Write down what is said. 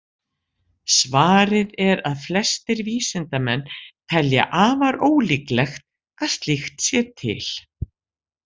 Svarið er að flestir vísindamenn telja afar ólíklegt að slíkt sé til.